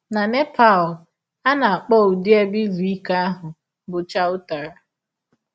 Na Nepal, a na - akpọ ụdị ebe izu ike ahụ bụ chautara.